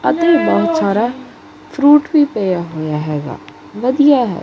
ਅਤੇ ਬਹੁਤ ਸਾਰਾ ਫਰੂਟ ਵੀ ਪਿਆ ਹੋਇਆ ਹੈਗਾ ਵਧੀਆ ਹੈ।